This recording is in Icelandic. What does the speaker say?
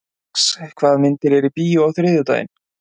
Rex, hvaða myndir eru í bíó á þriðjudaginn?